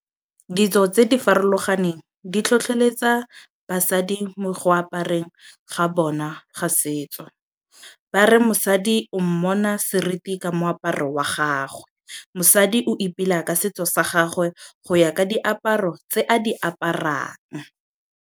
Ditso tse di farologaneng di tlhotlheletsa basadi mo go apareng ga bona ga setso. Ba re mosadi o mmona seriti ka moaparo wa gagwe. Mosadi o ipela ka setso sa gagwe go ya ka diaparo tse a di aparang.